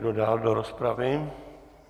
Kdo dál do rozpravy?